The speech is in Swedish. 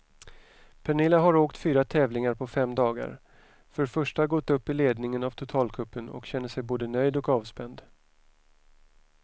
Pernilla har åkt fyra tävlingar på fem dagar, för första gått upp i ledningen av totalcupen och känner sig både nöjd och avspänd.